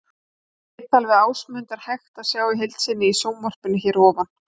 Viðtalið við Ásmund er hægt að sjá í heild sinni í sjónvarpinu hér að ofan.